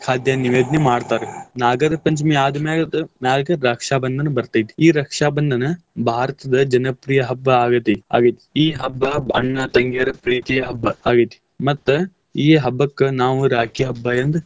ಖಾದ್ಯ ನೈವೇದ್ಯ ಮಾಡ್ತಾರ್ ನಾಗರ ಪಂಚಮಿ ಆದ್ಮ್ಯಾಗದ ಮ್ಯಾಗ್ ರಕ್ಷಾ ಬಂಧನ ಬರ್ತೇತಿ. ಈ ರಕ್ಷಾ ಬಂಧನ ಭಾರತದ ಜನಪ್ರಿಯ ಹಬ್ಬಾ ಆಗೇತಿ ಆಗೈತಿ, ಈ ಹಬ್ಬಾ ಅಣ್ಣ ತಂಗಿಯರ ಪ್ರೀತಿಯ ಹಬ್ಬ ಆಗೇತಿ ಮತ್ತ್ ಈ ಹಬ್ಬಕ್ಕ್ ನಾವ್ ರಾಖಿ ಹಬ್ಬಾ ಎಂದ್.